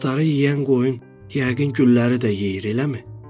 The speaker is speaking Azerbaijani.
"Kol-kosları yeyən qoyun yəqin gülləri də yeyir, eləmi?"